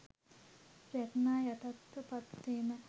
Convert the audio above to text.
රැග්නා යටතට පත් වීම.